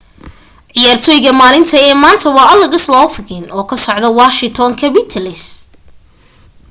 ciyaartoyga maalinta ee maanta waa alex overchkin oo ka socda washington capitals